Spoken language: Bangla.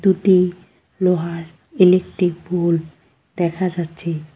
এটি লোহার ইলেকট্রিক পোল দেখা যাচ্ছে।